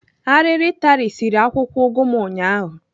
Arịrị tarisiri akwụkwọ ụgụ m ụnyaahụ.